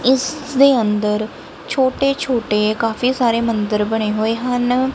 ਇਸ ਦੇ ਅੰਦਰ ਛੋਟੇ ਛੋਟੇ ਕਾਫੀ ਸਾਰੇ ਮੰਦਰ ਬਣੇ ਹੋਏ ਹਨ।